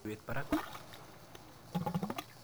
Tulwet parak.